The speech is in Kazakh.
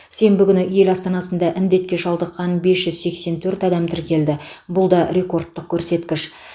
сенбі күні ел астанасында індетке шалдыққан бес жүз сексен төрт адам тіркелді бұл да рекордтық көрсеткіш